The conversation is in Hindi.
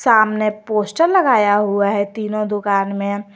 सामने पोस्टर लगाया हुआ है तीनों दुकान में।